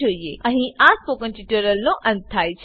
અહીં આ સ્પોકન ટ્યુટોરીયલનો અંત થાય છે